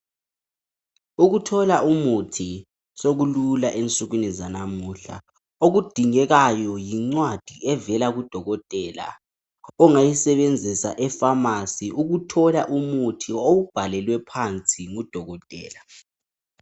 Ukuthola umuthi sokulula ensukwini zalamuhla okudingekayo yincwadi evela kudokotela ongayisebenzisa eFamasi ukuthola umuthi owubhalelwe phansi ngudokotela.